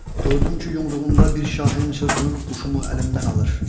Gördüm ki, yumruğumda bir şahin çırpınıb quşumu əlimdən alır.